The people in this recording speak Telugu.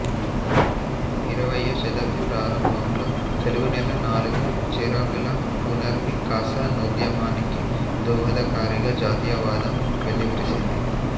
ఇరవయ్యో శతాబ్ది ప్రారంభంలో తెలుగునేల నాలుగు చెరగులా పునర్వికాసనోద్యమానికి దోహదకారిగా జాతీయవాదం వెల్లివిరిసింది